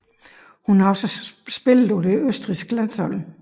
Hun har også spillet for det østrigske landshold